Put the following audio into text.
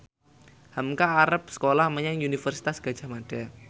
hamka arep sekolah menyang Universitas Gadjah Mada